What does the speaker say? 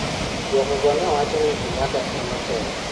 duoko go ne wacho ni Kenyatta ema otelo